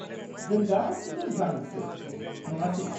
-जों गासिबो जांकसो नङासे?